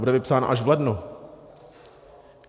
Bude vypsána až v lednu.